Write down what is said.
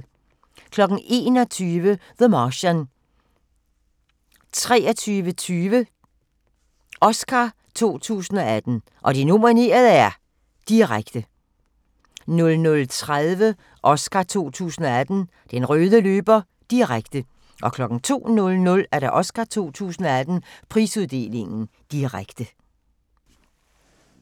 21:00: The Martian 23:20: Oscar 2018: Og de nominerede er ...- direkte 00:30: Oscar 2018: Den røde løber - direkte 02:00: Oscar 2018: Prisuddeling - direkte